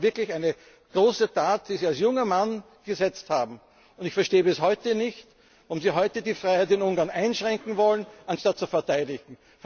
Das war wirklich eine große Tat, die Sie als junger Mann gesetzt haben. Und ich verstehe bis heute nicht, warum Sie heute die Freiheit in Ungarn einschränken wollen, anstatt sie zu verteidigen.